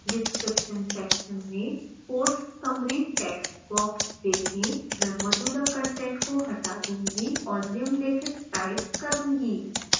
description section में course summary textbox देखें मैं मौजूदा कंटेंट को हटा दूंगा और निम्नलिखित टाइप करूंगा